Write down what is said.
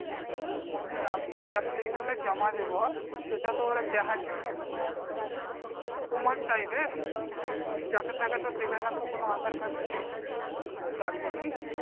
মানে আমি যে ওই application টা জমা দেবো সেটা তো আর দেখার জন্য কোন প্রমাণ চাইবে তুমি যাকে তাকে দেবে না তো কোন আধার কার্ড কিছু, কোন কিছু লাগবে কি?